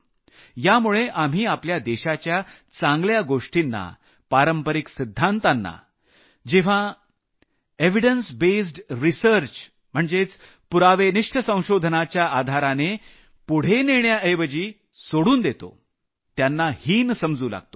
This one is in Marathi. यामुळे आपल्या देशाच्या चांगल्या गोष्टींना पारंपरिक सिद्धांतांना पुराव्यावर आधारित पुढे नेण्याऐवजी सोडून देतो त्यांना हीन समजू लागतो